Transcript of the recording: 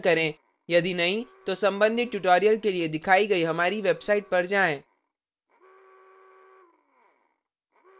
यदि नहीं तो संबंधित tutorials के लिए दिखाइ गई हमारी website पर जाएँ